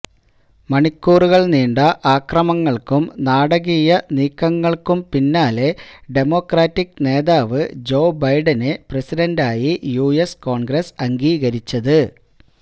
മണിക്കൂറുകൾ നീണ്ട അക്രമങ്ങൾക്കും നാടകീയ നീക്കങ്ങൾക്കും പിന്നാലെ ഡെമോക്രാറ്റിക്ക് നേതാവ് ജോ ബൈഡനെ പ്രസിഡന്റായി യുഎസ് കോൺഗ്രസ് അംഗീകരിച്ചത്